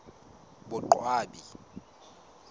boqwabi